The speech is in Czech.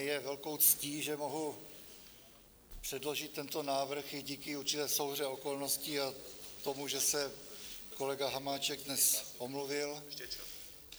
Mně je velkou ctí, že mohu předložit tento návrh i díky určité souhře okolností a tomu, že se kolega Hamáček dnes omluvil.